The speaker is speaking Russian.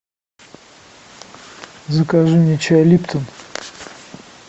закажи мне чай липтон